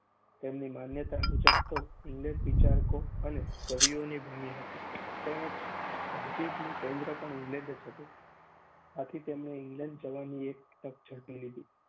તેમની માન્યતા મુજબ તો ઇંગ્લેન્ડ વિચારકો અને કવિઓની ભૂમિ હતી તેમજ તહજીબનું કેન્દ્ર પણ ઇંગ્લેન્ડ જ હતું. આથી તેમણે ઇંગ્લેન્ડ જવાની એ તક ઝડપી લીધી.